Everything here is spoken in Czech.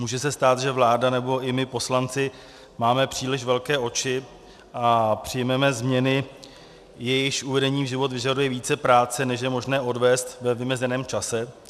Může se stát, že vláda, nebo i my poslanci máme příliš velké oči a přijmeme změny, jejichž uvedení v život vyžaduje více práce, než je možné odvést ve vymezeném čase.